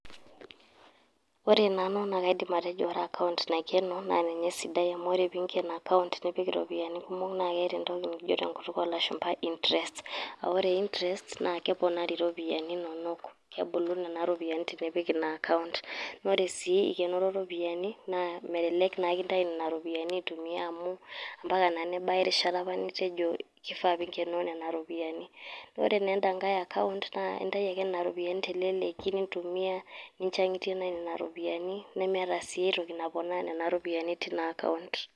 Ore nanu naa kaidim atejo ore account naikeno naa ninye sidai. Amu ore pee iinken account nipik irropiyiani kumok naa keeta entoki nikijo te nkutuk oo lashumpa interest. Aa ore interest naa keponari irropiyiani inonok kebula nena ropiyiani tenipik ina account naa ore sii ikenoro ropiyiani naa melelek naa intayu aitumia nena ropiyini amu mpaka naa nebaiki erishata apa nitejo kifaa pee inkenoo nena ropiyiani. Ore sii en`da nkae account, naa intayu ake ropiyiani te leleki nintumiya ninchang`itie naaji nena ropiyiani, nemeeta sii aitoki naponaa nena ropiyiani teina account.